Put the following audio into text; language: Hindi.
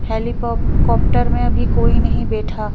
हेली कॉप् कॉप्टरर में अभी कोई नहीं बैठा--